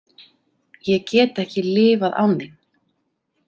Ég get ekki lifað án þín.